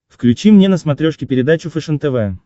включи мне на смотрешке передачу фэшен тв